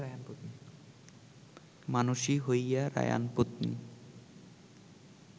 মানুষী হইয়া রায়াণপত্নী